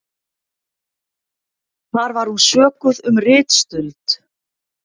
Þar var hún sökuð um ritstuld